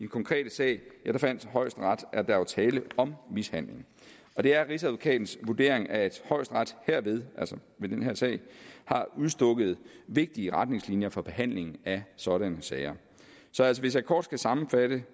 konkrete sag fandt højesteret at der var tale om mishandling det er rigsadvokatens vurdering at højesteret herved altså ved den her sag har udstukket vigtige retningslinjer for behandlingen af sådanne sager så altså hvis jeg kort skal sammenfatte